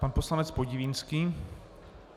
Pan poslanec Podivínský.